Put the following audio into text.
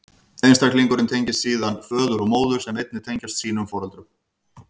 Einstaklingurinn tengist síðan föður og móður, sem einnig tengjast sínum foreldrum.